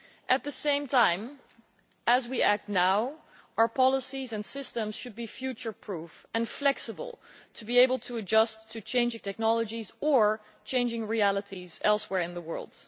At the same time as we act now, our policies and systems should be future proof and flexible, so as to be able to adjust to changing technologies or changing realities elsewhere in the world.